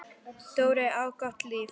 Dóri átti gott líf.